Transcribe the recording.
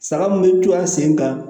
Saga mun be to a sen kan